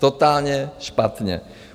Totálně špatně.